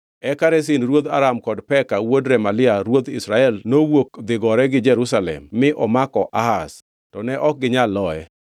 Eka Rezin ruodh Aram kod Peka wuod Remalia ruodh Israel nowuok dhi gore gi Jerusalem mi omako Ahaz, to ne ok ginyal loye.